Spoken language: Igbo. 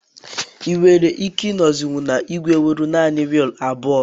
Ị nwere ike ịnozi na igwe nwere naanị wiil abụọ